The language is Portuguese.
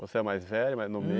Você é mais velho? Mais no